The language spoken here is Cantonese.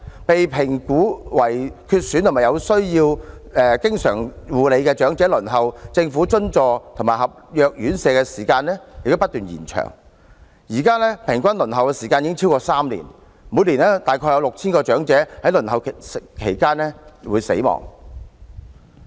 被評估為需要長期護理的長者，其輪候政府津助及合約院舍的時間不斷延長，現時平均輪候時間已超過3年，每年約有 6,000 名長者在輪候期間死亡。